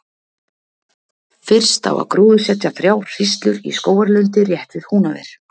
Fyrst á að gróðursetja þrjár hríslur í skógarlundi rétt við Húnaver.